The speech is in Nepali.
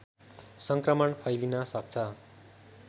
सङ्क्रमण फैलिन सक्छ